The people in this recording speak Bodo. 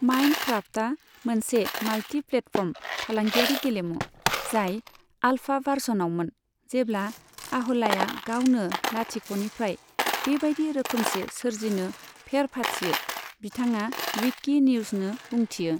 माइनक्राफ्टआ मोनसे माल्टीप्लेटफर्म फालांगियारि गेलेमु, जाय आल्फा भार्सनआवमोन, जेब्ला आह'लाया गावनो लाथिख'निफ्राय बेबायदि रोखोमसे सोरजिनो फेर फाथियो, बिथाङा विकि निउजनो बुंथियो।